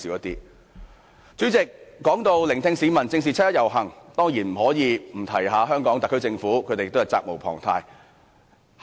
代理主席，說到聆聽市民意見、正視七一遊行，當然不能不談香港特區政府，它責無旁貸。